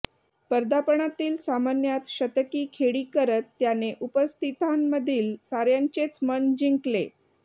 पदार्पणातील सामन्यात शतकी खेळी करत त्याने उपस्थितांमधील साऱ्यांचेच मन जिंकले